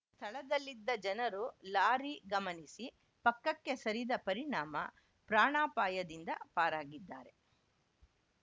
ಸ್ಥಳದಲ್ಲಿದ್ದ ಜನರು ಲಾರಿ ಗಮನಿಸಿ ಪಕ್ಕಕ್ಕೆ ಸರಿದ ಪರಿಣಾಮ ಪ್ರಾಣಾಪಾಯದಿಂದ ಪಾರಾಗಿದ್ದಾರೆ